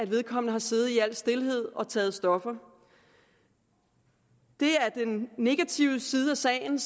vedkommende har siddet i al stilhed og taget stoffer det er den negative side af sagen